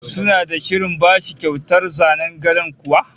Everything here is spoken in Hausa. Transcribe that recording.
Suna da shirin bashi kyautar zanen gadon kuwa?